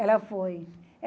Ela foi.